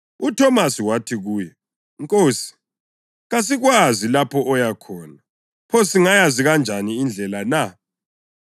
UThomasi wathi kuye, “Nkosi, kasikwazi lapho oya khona, pho singayazi kanjani indlela na?”